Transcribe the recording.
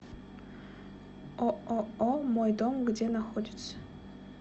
ооо мой дом где находится